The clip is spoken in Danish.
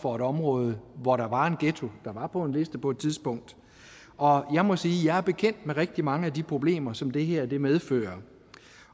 for et område hvor der var en ghetto var på en liste på et tidspunkt og jeg må sige at jeg er bekendt med rigtig mange af de problemer som det her medfører